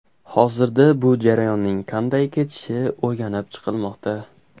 Hozirda bu jarayonning qanday kechishi o‘rganib chiqilmoqda.